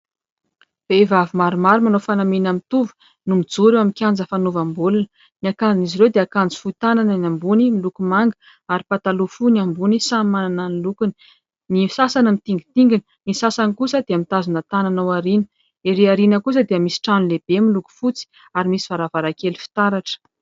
Vehivavy maromaro manao fanamiana mitovy no mijoro eo amin'ny kianja fanaovam-baolina. Ny akanjon'izy ireo dia akanjo fohy tanana ny ambony miloko manga ary pataloha fohy ny ambany samy manana ny lokony. Ny sasany mitingintingina ny sasany kosa dia mitazona tanana aoriana. Ery aoriana kosa dia misy trano lehibe miloko fotsy ary misy varavarankely fitaratra.